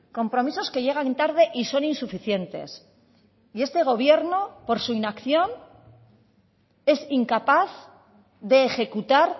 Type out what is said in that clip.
compromisos que llegan tarde y son insuficientes y este gobierno por su inacción es incapaz de ejecutar